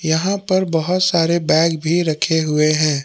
यहां पर बहोत सारे बैग भी रखे हुए हैं।